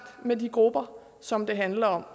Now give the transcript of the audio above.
med de grupper som det handler om